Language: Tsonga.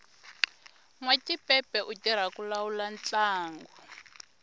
nwatipepe u tirha ku lawula ntlangu